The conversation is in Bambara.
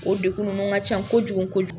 O dekun ninnu ka can kojugu kojugu.